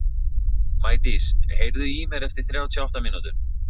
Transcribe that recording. Maídís, heyrðu í mér eftir þrjátíu og átta mínútur.